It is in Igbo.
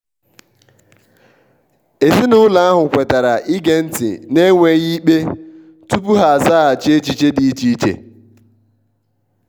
ezinụlọ ahụ kwetara ige nti n'enweghi ikpe tupu ha azaghachi echiche di iche iche.